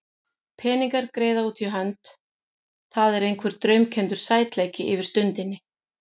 Peningar, greiða út í hönd, það er einhver draumkenndur sætleiki yfir stundinni.